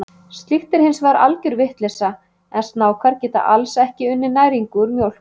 Slíkt er hins vegar algjör vitleysa, en snákar geta alls ekki unnið næringu úr mjólk.